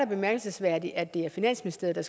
bemærkelsesværdigt at det er finansministeriet